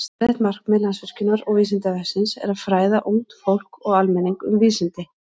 Sameiginlegt markmið Landsvirkjunar og Vísindavefsins er að fræða ungt fólk og almenning um vísindi.